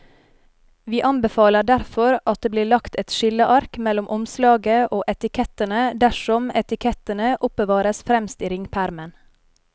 Vi anbefaler derfor at det blir lagt et skilleark mellom omslaget og etikettene dersom etikettene oppbevares fremst i ringpermen.